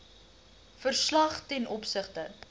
verslag ten opsigte